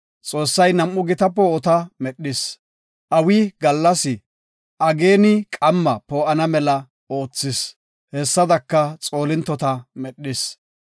Xoossay nam7u gita poo7ota medhis. Awi gallas, ageeni qamma poo7ana mela oothis. Hessadaka Xoolintota medhis.